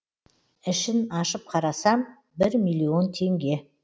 ішін ашып қарасам бір миллион теңге